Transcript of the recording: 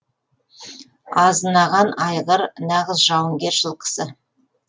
азынаған айғыр нағыз жауынгер жылқысы